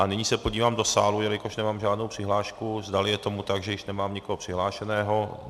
A nyní se podívám do sálu, jelikož nemám žádnou přihlášku, zdali je tomu tak, že již nemám nikoho přihlášeného.